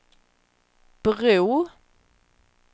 bro